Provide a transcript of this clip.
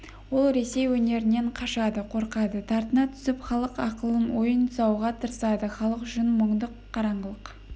ол ресей өнерінен қашады қорқады тартына түсіп халық ақылын ойын тұсауға тырысады халық үшін мұңдық қараңғылық